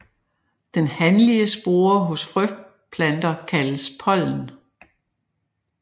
Den hanlige spore hos frøplanter kaldes pollen